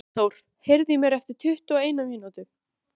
Hversu mikið af lífi mínu er þannig farið forgörðum?